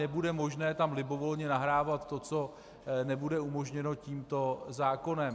Nebude možné tam libovolně nahrávat to, co nebude umožněno tímto zákonem.